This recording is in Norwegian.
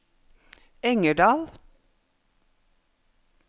Engerdal